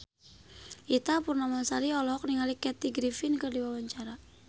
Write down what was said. Ita Purnamasari olohok ningali Kathy Griffin keur diwawancara